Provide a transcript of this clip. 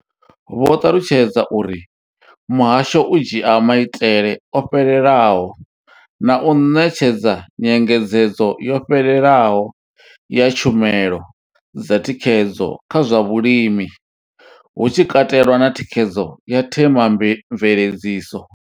Vho ṱalutshedza uri muhasho u dzhia maitele o fhelelaho na u ṋetshedza nyengedzedzo yo fhelelaho ya tshumelo dza thikhedzo kha zwa vhulimi, hu tshi katelwa na thikhedzo ya themamveledziso.